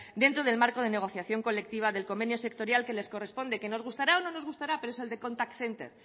dentro del marco de negociación colectiva del convenio sectorial que les corresponde que nos gustará o no nos gustará pero es el de contact center